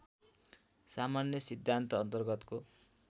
सामान्य सिद्धान्त अन्तर्गतको